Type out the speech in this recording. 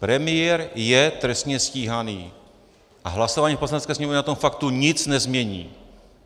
Premiér je trestně stíhán a hlasování v Poslanecké sněmovně na tom faktu nic nezmění.